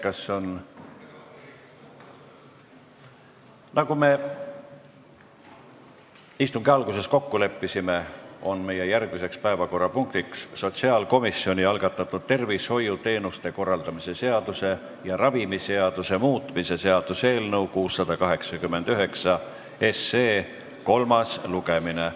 Nagu me istungi alguses kokku leppisime, on meie järgmine päevakorrapunkt sotsiaalkomisjoni algatatud tervishoiuteenuste korraldamise seaduse ja ravimiseaduse muutmise seaduse eelnõu 689 kolmas lugemine.